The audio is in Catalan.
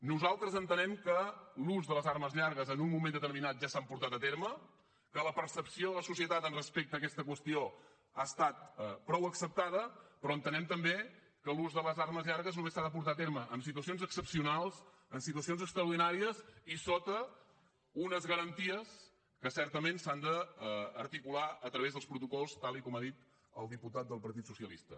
nosaltres entenem que l’ús de les armes llargues en un moment determinat ja s’ha portat a terme que la percepció de la societat respecte a aquesta qüestió ha estat prou acceptada però entenem també que l’ús de les armes llargues només s’ha de portar a terme en situacions excepcionals en situacions extraordinàries i sota unes garanties que certament s’han d’articular a través dels protocols tal com ha dit el diputat del partit socialista